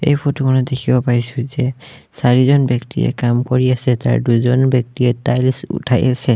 এই ফটো খনত দেখিব পাইছোঁ যে চাৰিজন ব্যক্তিয়ে কাম কৰি আছে তাৰে দুজন ব্যক্তিয়ে টাইলছ উঠাই আছে।